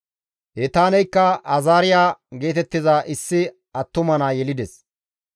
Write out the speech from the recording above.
Etaaneykka Azaariya geetettiza issi attuma naa yelides.